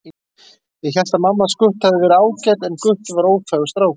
Ég hélt að mamma hans Gutta hefði verið ágæt en Gutti væri óþægur strákur